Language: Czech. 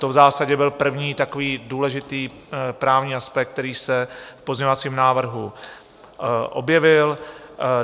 To v zásadě byl první takový důležitý právní aspekt, který se v pozměňovacím návrhu objevil.